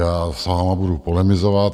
Já s vámi budu polemizovat.